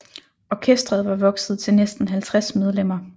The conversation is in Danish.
Orkestret var vokset til næsten 50 medlemmer